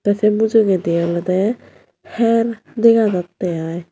se mujungedi olode her dega jatte ai.